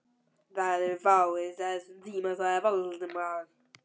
Það eru fáir þar á þessum tíma sagði Valdimar.